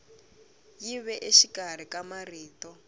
yi ve exikarhi ka marito